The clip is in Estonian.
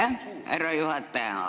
Aitäh, härra juhataja!